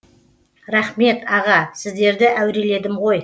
рахмет аға сіздерді әуреледім ғой